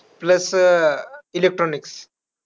Plus electronics.